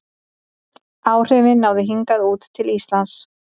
Áhrifin náðu hingað út til Íslands.